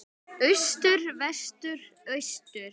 Austur Vestur Austur